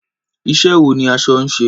Iṣẹ́ wo ni aṣọ ń ṣe?